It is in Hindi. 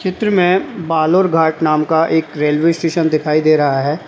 चित्र में बालोर घाट नाम का एक रेलवे स्टेशन दिखाई दे रहा है।